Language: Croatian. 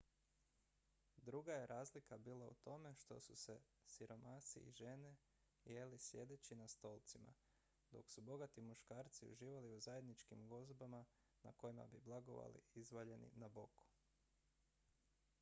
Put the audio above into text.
druga je razlika bila u tome što su siromasi i žene jeli sjedeći na stolcima dok su bogati muškarci uživali u zajedničkim gozbama na kojima bi blagovali izvaljeni na boku